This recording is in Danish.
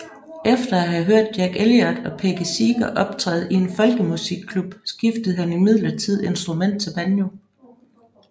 Efter at have hørt Jack Elliot og Peggy Seeger optræde i en folkemusikklub skiftede han imidlertid instrument til banjo